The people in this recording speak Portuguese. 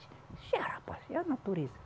Ah rapaz, é a natureza.